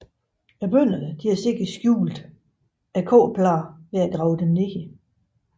Bønderne har sikkert skjult kobberpladerne ved at grave dem ned